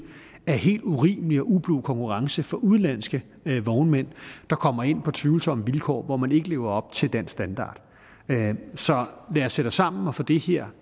af helt urimelig og ublu konkurrence fra udenlandske vognmænd der kommer ind på tvivlsomme vilkår hvor man ikke lever op til dansk standard så lad os sætte os sammen og få det her